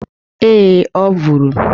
Ee, ọ bụrụ